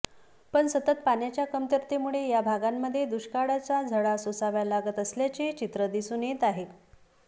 पण सतत पाण्याच्या कमतरतेमुळे या भागांमध्ये दुष्काळाच्या झळा सोसाव्या लागत असल्याचे चित्र दिसून येत आहे